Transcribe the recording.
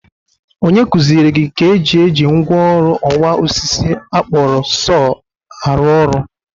Onye kuziere gị ka e ji eji mgwa ọrụ ọwa osisi a kpọrọ sọọ a rụ ọrụ?